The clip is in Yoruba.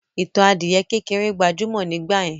Ìtàn adìyẹ kékeré gbajúmọ̀ nígbàyẹn.